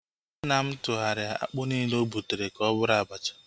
Nna m tụgharịa akpụ nile ogbutere ka ọ bụrụ abacha